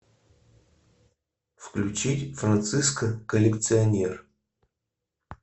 включить франциско коллекционер